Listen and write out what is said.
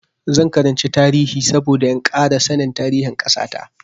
Zan karanci tarihi saboda in ƙara sanin tarihin ƙasa ta.